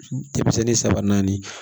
Denmisɛnnin saba naani